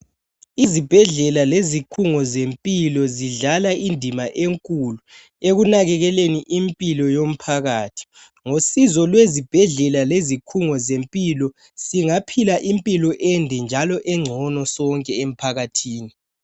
Izibhedlela lezikhungo zempilo zidlala indima enkulu ekunakekeleni impilo yomphakathi. Ngosizo lwezibhedlela lezikhungo zempilo singaphila impilo ende njalo engcono sonke emphakathini.